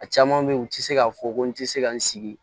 A caman bɛ yen u tɛ se k'a fɔ ko n tɛ se ka n sigi